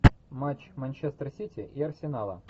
матч манчестер сити и арсенала